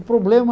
O problema...